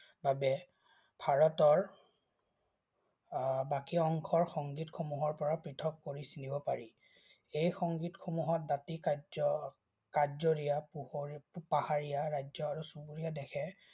বাবে ভাৰতৰ উম বাকী অংশৰ সংগীতসমূহৰপৰা পৃথক কৰি চিনিব পাৰি। এই সংগীতসমূহত বাকী কাৰ্য্য পাহাৰীয়া ৰাজ্য আৰু চুবুৰীয়া দেশে